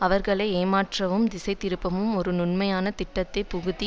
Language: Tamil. அவர்களை ஏமாற்றவும் திசை திருப்பவும் ஒரு நுண்மையான திட்டத்தை புகுத்தி